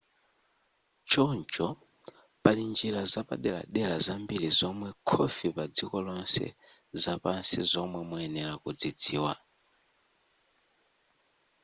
choncho pali njira zapaderadera zambiri zomwera khofi padziko lonse zapansi zomwe muyenera kudzidziwa